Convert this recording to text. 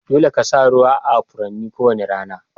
Dolle ka sa ruwa a Furannin ko wani rana.